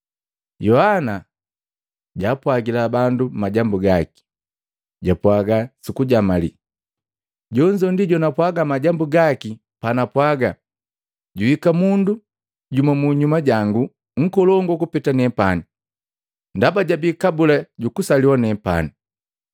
Yohana jaapwajila bandu majambu gaki, japwaga sukujamali, “Jonzo ndi jonapwaga majambu gaki panapwaga, ‘Juhika mundu jumu munyuma jangu nkolongu kupeta nepani, ndaba jabii kabula jukusaliwa nepani.’ ”